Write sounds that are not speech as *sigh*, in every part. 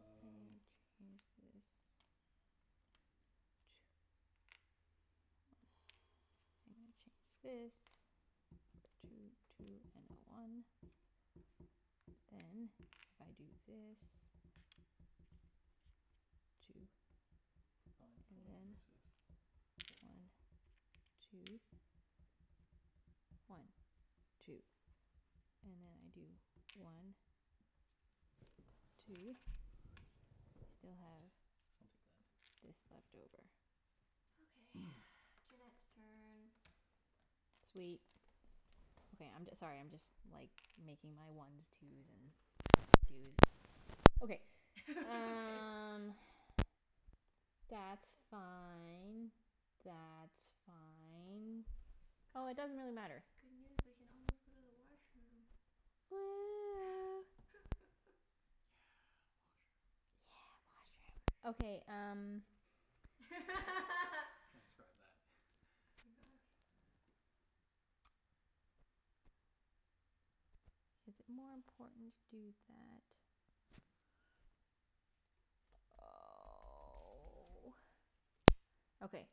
I'm gonna change this. *noise* And change *noise* this. *noise* Two two and a one. Then if I do this, two Five and coin then versus one one coin. two. One two. And then I do one *noise* What? two. Still have I'll take that. *noise* this left over. Okay, *noise* *noise* Junette's turn. Sweet. Okay, I'm j- sorry, I'm just like making my ones twos and fives twos and ones. Okay. *laughs* Okay. Um that's fine. That's fine. Oh, it doesn't Guys, really matter. good news. We can almost go to the washroom. Woo. *laughs* Yeah, washroom. Yeah, Yeah, washroom. Okay, um washroom. *laughs* *laughs* Transcribe that. *laughs* Oh my gosh. Is it more important to do that? Oh. Okay,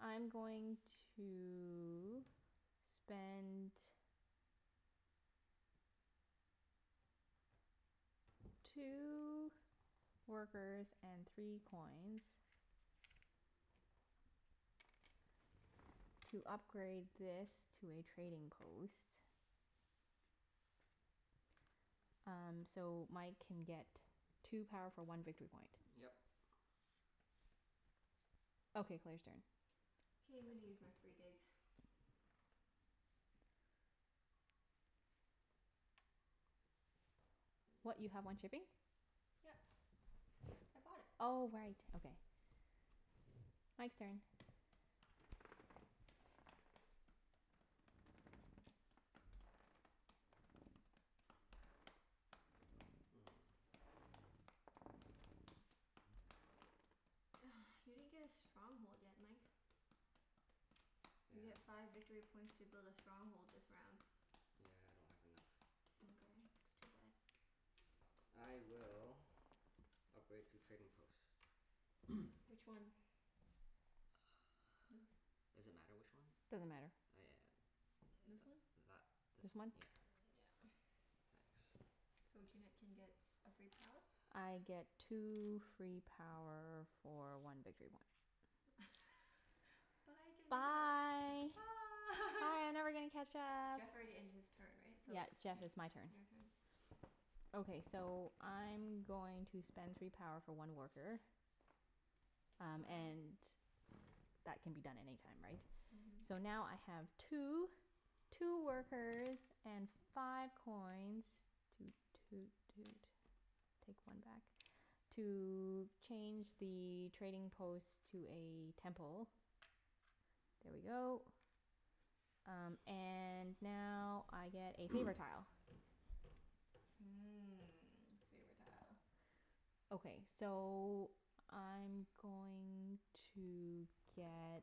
I'm going to spend two workers and three coins to upgrade this to a trading post. Um so Mike can get two power for one victory point. Yep. Okay, Claire's turn. K, I'm gonna use my free dig. *noise* What, you have one shipping? *noise* Yep. I bought it. Oh right. Okay. Mike's turn. Hmm. *noise* You didn't get a stronghold yet, Mike. You get Yeah. five victory points to build a stronghold this round. Yeah, I don't have enough. Mkay, that's too bad. I will upgrade two trading posts. *noise* Which one? *inaudible* Does it matter which one? Doesn't matter. Oh This yeah, one? th- that this This one. one? Yeah. *noise* Yeah. *noise* Thanks. So Junette Yeah. can get a free power? I get two free power for one victory point. *laughs* Bye, Junette. Bye. Bye. Bye, I'm never gonna catch up. Jeff already ended his turn, right? So Yep, it's Jeff, Yeah. it's my turn. your turn. Okay, so I'm going to spend three power for one worker. Um Wow. and that can be done any time, right? So Mhm. now I have two two workers and five coins Toot toot toot. Take one back. To change the trading post to a temple. There we go. Um and now I get a favor *noise* tile. Mmm, favor tile. Okay. So I'm *noise* going to get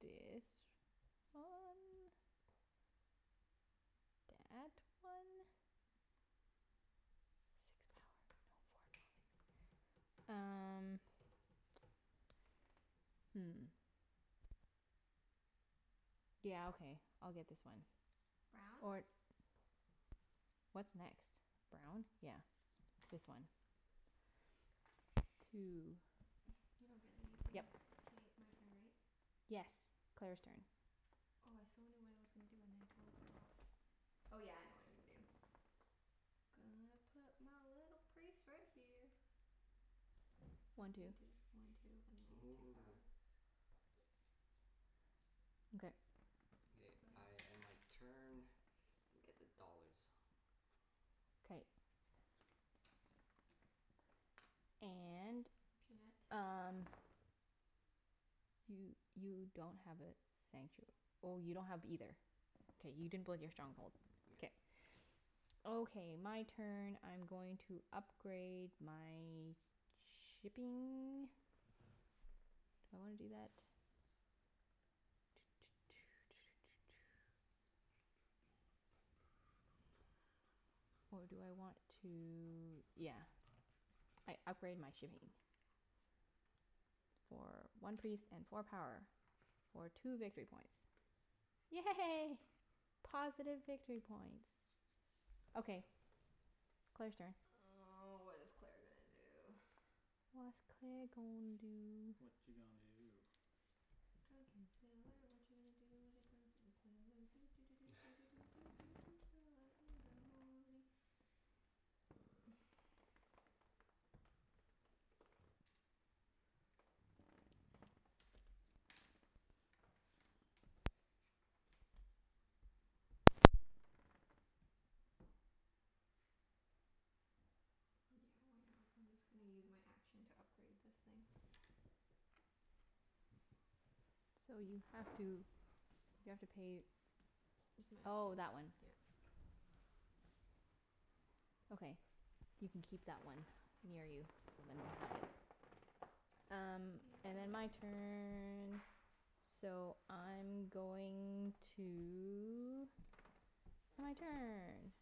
Dis one. Dat one. Six power *inaudible* um hmm. Yeah, okay. I'll get this one. Brown? Or What's next? Brown? Yeah. This one. Two. *noise* You don't get anything. Yep. K, my turn, right? Yes. Claire's turn. Oh, I so knew what I was gonna do and then I totally forgot. Oh, yeah. I know what I'm gonna do. Gonna put my little priest right here. This One two. can do one two and then I get two power. *noise* *noise* Okay. K, That's I about it. end my turn and get the dollars. K. And Junette? um You you don't have a sanctu- oh, you don't have either. K, you didn't build your stronghold. Yeah. K. Okay. My turn. I'm going to upgrade my shipping. Do I wanna do that? *noise* Or do I want to, yeah. I upgrade my shipping. For one priest and four power. *noise* For two victory points. Yay. *noise* Positive victory points. Okay, Claire's turn. Oh, what is Claire gonna do? *noise* What's Claire gonna do? Watcha gonna do? Drunken sailor, watcha gonna do with a drunken sailor, doo doo doo doo doo *laughs* doo doo doo doo early in the morning. *noise* Yeah, why not? I'm just gonna use my action to upgrade this thing. So you have to, you have to pay, It's my oh, action. that one. Yeah. Okay. You can keep that one near you so then *inaudible* Um Your and then turn. my turn. So I'm going to, my turn.